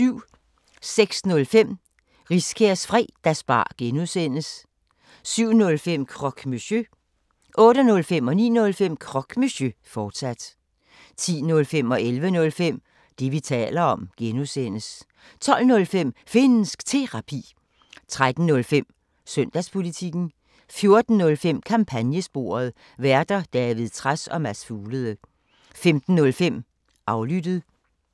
06:05: Riskærs Fredagsbar (G) 07:05: Croque Monsieur 08:05: Croque Monsieur, fortsat 09:05: Croque Monsieur, fortsat 10:05: Det, vi taler om (G) 11:05: Det, vi taler om (G) 12:05: Finnsk Terapi 13:05: Søndagspolitikken 14:05: Kampagnesporet: Værter: David Trads og Mads Fuglede 15:05: Aflyttet